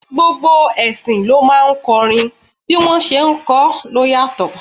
Gbogbo ẹṣin ló máa ń kọrin, bí wọ́n ṣé ń kọ ló yàtọ̀.